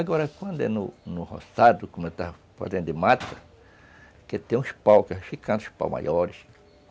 Agora, quando é no no roçado, como eu estava fazendo de mata, que tem uns paus, que vão ficam uns paus maiores.